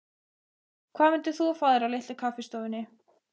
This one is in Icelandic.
Hvað myndir þú fá þér á Litlu kaffistofunni?